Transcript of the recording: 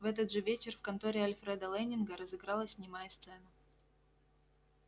в этот же вечер в конторе альфреда лэннинга разыгралась немая сцена